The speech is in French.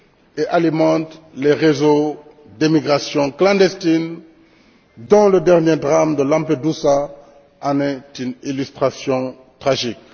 et alimente les réseaux d'immigration clandestine dont le dernier drame de Lampedusa est une illustration tragique.